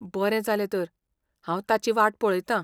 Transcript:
बरें जालें तर, हांव ताची वाट पळयतां.